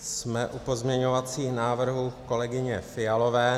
Jsme u pozměňovacích návrhů kolegyně Fialové.